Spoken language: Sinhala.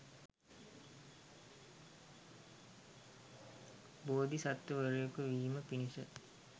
බෝධි සත්ව වරයෙකු වීම පිණිස